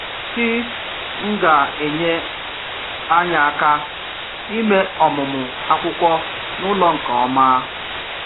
Kí n’gà enyé anyị aka ime ọmụmụ akwụkwọ n’ụlọ nke ọma?